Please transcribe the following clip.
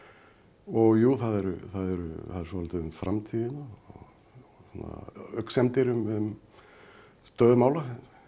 og jú það er svolítið um framtíðina og röksemdir um stöðu mála